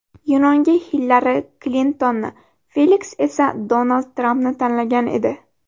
Yunonga Hillari Klintonni, Feliks esa Donald Trampni tanlagan edi.